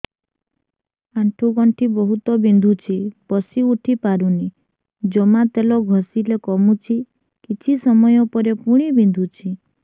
ଆଣ୍ଠୁଗଣ୍ଠି ବହୁତ ବିନ୍ଧୁଛି ବସିଉଠି ପାରୁନି ଜମା ତେଲ ଘଷିଲେ କମୁଛି କିଛି ସମୟ ପରେ ପୁଣି ବିନ୍ଧୁଛି